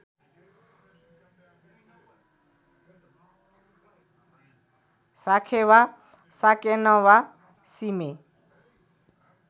साखेवा साकेनवा सिमे